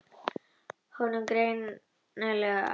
Honum er greinilega alvara.